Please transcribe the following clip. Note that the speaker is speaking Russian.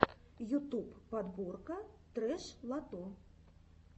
ютуб подборка трэш лото